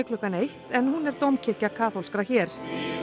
klukkan eitt en hún er dómkirkja kaþólskra hér